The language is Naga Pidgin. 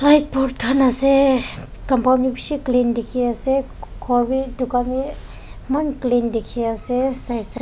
khan ase compound bi bishi clean dikhiase khor bi dukan bi eman clean dikhiase side .